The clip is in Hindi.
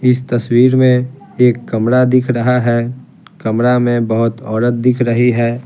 इस तस्वीर में एक कमरा दिख रहा है कमरा में बहुत औरत दिख रही है।